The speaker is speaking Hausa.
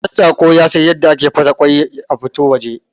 Ɗantsako yasan yadda ake fasa kwai a fito waje